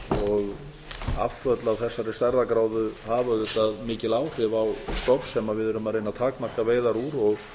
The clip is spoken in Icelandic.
og afföll af þessari stærðargráðu hafa auðvitað mikil áhrif á stofn sem við erum að reyna að takmarka veiðar úr og